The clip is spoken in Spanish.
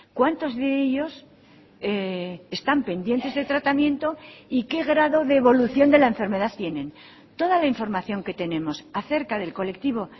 cuántos de ellos están pendientes de tratamiento y qué grado de evolución de la enfermedad tienen toda la información que tenemos acerca del colectivo